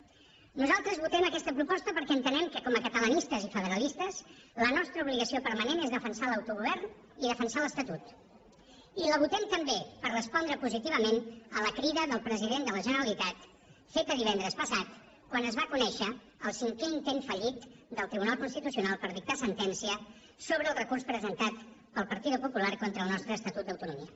nosaltres votem aquesta proposta perquè entenem que com a catalanistes i federalistes la nostra obligació permanent és defensar l’autogovern i defensar l’estatut i la votem també per respondre positivament a la crida del president de la generalitat feta divendres passat quan es va conèixer el cinquè intent fallit del tribunal constitucional per dictar sentència sobre el recurs presentat pel partido popular contra el nostre estatut d’autonomia